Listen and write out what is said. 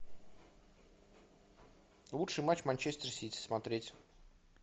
лучший матч манчестер сити смотреть